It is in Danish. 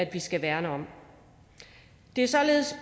vi skal værne om det er således